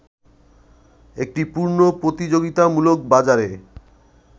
একটি পূর্ণ প্রতিযোগিতামূলক বাজারে